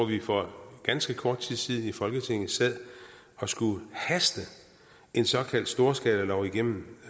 vi for ganske kort tid siden i folketinget sad og skulle haste en såkaldt storskalalov igennem